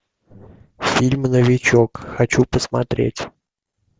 фильм новичок хочу посмотреть